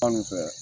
Fan min fɛ